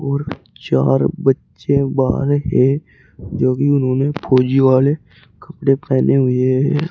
और चार बच्चे बाहर है जो कि उन्होंने फौजी वाले कपड़े पेहने हुए हैं।